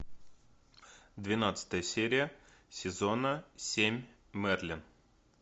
двенадцатая серия сезона семь мерлин